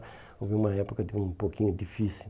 Houve uma época de um pouquinho difícil.